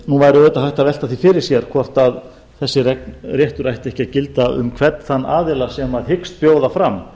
nú væri auðvitað hægt að velta því fyrir sér hvort þessi réttur ætti ekki að gilda um hvern þann aðila sem hyggst bjóða fram